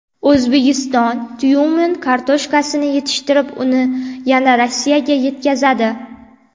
O‘zbekiston Tyumen kartoshkasini yetishtirib, uni yana Rossiyaga yetkazadi.